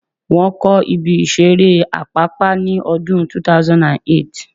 Wọ́n kọ́ ibi ìseré Àpápá ní ọdún 2008